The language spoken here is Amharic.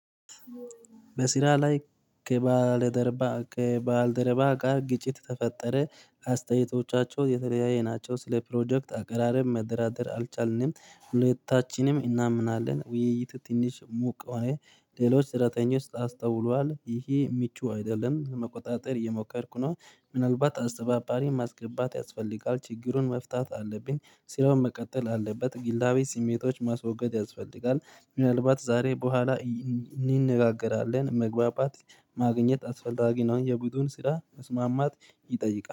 በስራ ላይ ከባል ደርባ ከባልደርባ ጋር ግጭት ተፈጠረ አስተያየቶቻቸው የተለያየ ናቸው። ስለ ፕሮጀክት አቀራረብ መደራደር አልቻልንም። ሁለታችንም እናምናለን ውይይት ትንሽ ሙቅ ሆነ። ሌሎች ስራተኞች አስተውሏል። ይሄ ሚቹ አይደለም። ለመቆጣጠር እየሞከርኩ ነው። ምናልባት አስተባባሪ ማስገባት ያስፈልጋል። ችግሩን መፍታት አለብኝ። ስራው መቀጠል አለበት። ግላዊ ስሜቶች ማስወገድ ያስፈልጋል። ምናልባት ዛሬ በኋላ እንነጋገራለን። መግባባት ማግኘት አስፈላጊ ነው። የቡድን ስራ መስማማት ይጠይቃል።